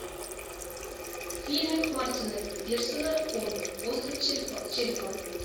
фильмик мартина пирсона конг остров черепа